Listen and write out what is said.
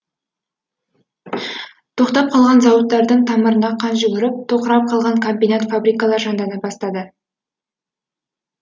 тоқтап қалған зауыттардың тамырына қан жүгіріп тоқырап қалған комбинат фабрикалар жандана бастады